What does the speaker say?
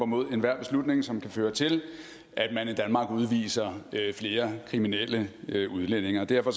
mod enhver beslutning som kan føre til at man i danmark udviser flere kriminelle udlændinge og derfor